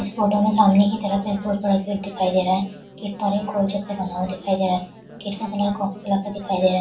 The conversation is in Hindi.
इस फोटो में सामने की तरफ बहुत बड़ा पेड़ दिखाई दे रहा है दिखाई दे रहा है दिखाई दे रहा है।